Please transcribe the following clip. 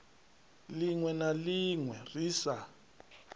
linwe na linwe ri sa